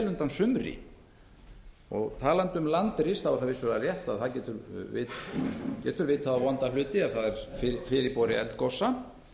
undan sumri úr því að talað er um landris er vissulega rétt að það getur vitað á vonda hluti ef það er fyrirboði eldgosa